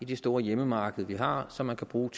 det store hjemmemarked vi har som man kan bruge